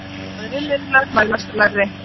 Aðrir miðlar mælast lægri.